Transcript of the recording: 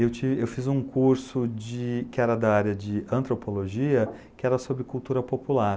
Eu fiz um curso que era da área de antropologia, que era sobre cultura popular.